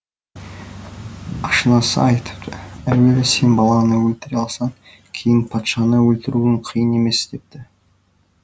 ашынасы айтыпты әуелі сен баланды өлтіре алсаң кейін патшаны өлтіруің қиын емес депті